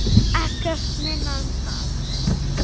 Ekkert minna en það!